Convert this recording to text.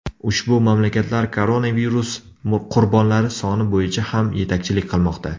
Ushbu mamlakatlar koronavirus qurbonlari soni bo‘yicha ham yetakchilik qilmoqda.